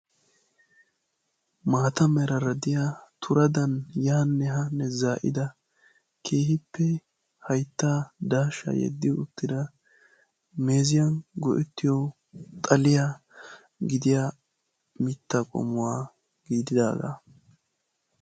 Maata meraara diya turadan yaanne haanne za'ida keehippe hayittan daashshaa yeddi uttida meeziyan go'ettiyoo xaliya gidiya mitta qommuwa gididaagaa.